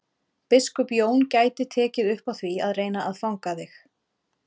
Biskup Jón gæti tekið upp á því að reyna að fanga þig.